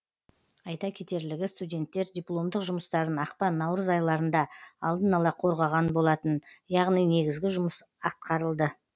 айта кетерлігі студенттер дипломдық жұмыстарын ақпан наурыз айларында алдын ала қорғаған болатын яғни негізгі жұмыс атқарылды